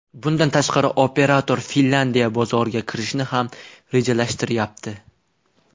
Bundan tashqari, operator Finlandiya bozoriga kirishni ham rejalashtiryapti.